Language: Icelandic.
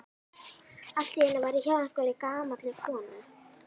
Allt í einu var ég hjá einhverri gamalli konu.